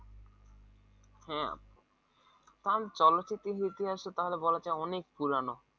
হ্যাঁ কারন চলচ্চিত্রের ইতিহাসে তাহলে বলা চলে অনেক পুরানো